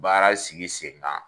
Baara sigi sen kan.